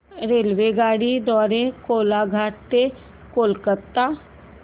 रेल्वेगाडी द्वारे कोलाघाट ते कोलकता